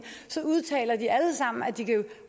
udtaler de alle sammen at de kan